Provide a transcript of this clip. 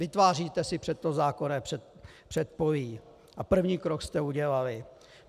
Vytváříte si pro to zákonné předpolí a první krok jste udělali.